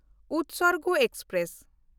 Utsarg express